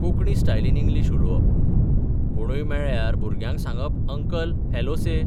कोंकणी स्टायलीन इंग्लीश उलोवप कोणूय मेळ्यार भुरग्याक सांगप अंकल हॅलो से.